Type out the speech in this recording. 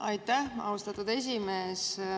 Aitäh, austatud esimees!